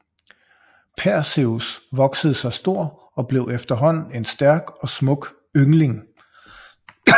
Perseus voksede sig stor og blev efterhånden en stærk og smuk yngling